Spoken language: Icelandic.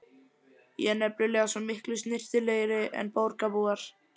Ég er nefnilega svo miklu snyrtilegri en borgarbúar.